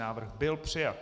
Návrh byl přijat.